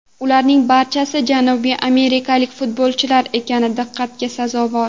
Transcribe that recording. Ularning barchasi janubiy amerikalik futbolchilar ekani diqqatga sazovor.